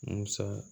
Musa